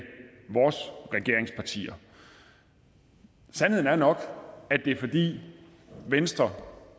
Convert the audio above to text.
vores regeringspartier sandheden er nok at det er fordi venstre